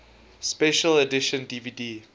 special edition dvd